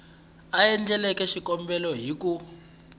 a endleke xikombelo hi ku